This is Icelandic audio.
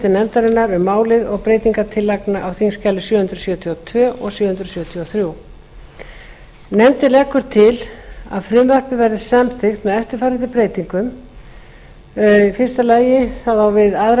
nefndarinnar um málið og breytingartillagna á þingskjali sjö hundruð sjötíu og tvö og sjö hundruð sjötíu og þrjú nefndin leggur til að frumvarpið verði samþykkt með eftirfarandi breytingum fyrstu við aðra